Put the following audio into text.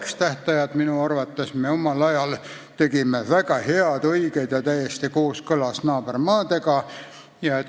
Need tähtajad me minu arvates tegime omal ajal väga head, õiged ja täiesti kooskõlas naabermaade omadega.